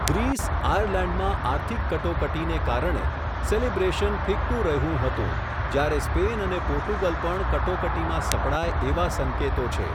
Greece, આયર્લેન્ડમાં આર્થિક કટોકટીને કારણે, સેલિબ્રેશન ફિક્કુ રહ્યું હતું, જ્યારે સ્પેન અને પોર્ટુગલ પણ કટોકટીમાં સપડાય એવા સંકેતો છે.